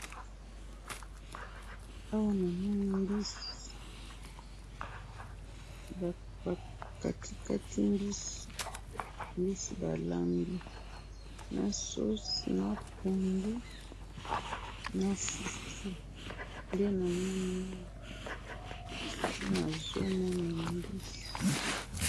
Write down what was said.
Na moni mutuka na nzela na batu na kati, eza na langi ya pembe na mai ya pondu.